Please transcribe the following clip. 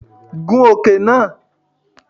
Gun okùn náà!